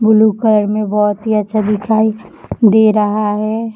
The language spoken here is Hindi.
ब्लू कलर मे बहुत ही अच्छा दिखाई दे रहा है।